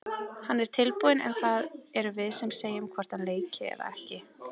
Hann er tilbúinn en það erum við sem segjum hvort hann leiki eða ekki.